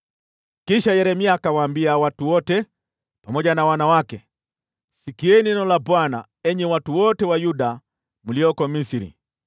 Kisha Yeremia akawaambia watu wote, pamoja na wanawake, “Sikieni neno la Bwana , enyi watu wote wa Yuda mlioko Misri.